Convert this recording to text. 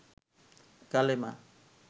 কালেমা